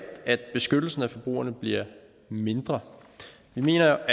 at beskyttelsen af forbrugerne bliver mindre jeg mener